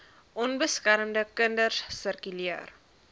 onbeskermde kinders sirkuleer